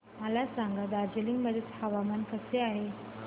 मला सांगा दार्जिलिंग मध्ये हवामान कसे आहे